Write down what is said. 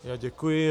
Já děkuji.